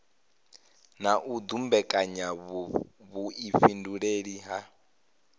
na u dumbekanya vhuifhinduleli ha